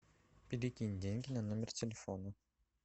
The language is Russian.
перекинь деньги на номер телефона